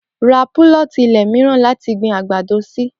Ra púlọ̀tì ilẹ̀ mìíràn láti gbin àgbàdo sí